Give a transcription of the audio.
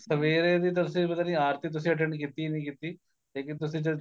ਸਵੇਰੇ ਦੀ ਤੁਸੀਂ ਪਤਾ ਨੀਂ ਆਰਤੀ ਤੁਸੀਂ attend ਕੀਤੀ ਨੀਂ ਕੀਤੀ ਲੇਕਿਨ ਤੁਸੀਂ ਜਦ